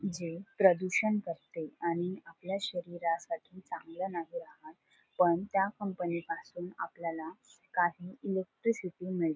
जे प्रदूषण करते आणि आपल्या शरीरसाठी चांगल नाही राहत पण त्या कंपनी पासून आपल्याला काही इलेक्ट्रिसिटी मिळ--